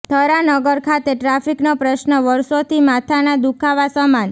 થરા નગર ખાતે ટ્રાફિકનો પ્રશ્ન વર્ષોથી માથાના દુઃખાવા સમાન